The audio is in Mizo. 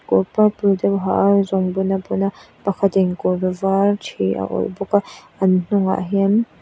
kawr purple te a ha a zungbun a bun a pakhatin kawr var ṭhi a awrh bawk a an hnungah hian --